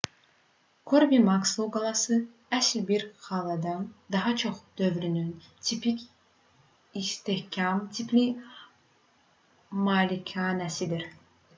körbi-makslo qalası əsl bir qaladan daha çox dövrünün tipik istehkam tipli malikanəsidir